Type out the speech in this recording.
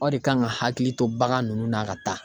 Aw de kan ka hakili to bagan nunnu na ka taa.